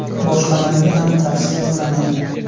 Boshqalarga ham tavsiya qilaman.